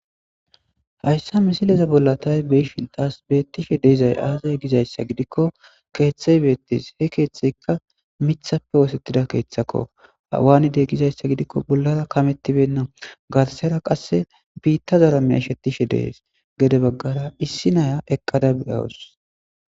Hayssa misileza bolla tay be shintas beettishe deeizay aazay gizayssa gidikko keeththey beettis he keeththeykka mithappe woosettida keeththakko hawaanidey gizayssa gidikko bollara kamettibenna garsera qasse biitta zara meya ishettishe dees gede baggara issi naya eqqada beyawus